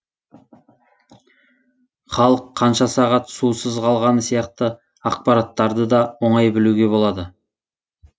халық қанша сағат сусыз қалғаны сияқты ақпараттарды да оңай білуге болады